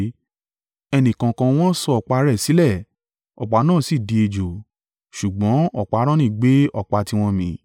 Ẹnìkọ̀ọ̀kan wọn sọ ọ̀pá rẹ̀ sílẹ̀, ọ̀pá náà sì di ejò. Ṣùgbọ́n ọ̀pá Aaroni gbé ọ̀pá tiwọn mì.